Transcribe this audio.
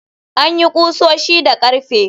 An yi ƙusoshi da ƙarfe.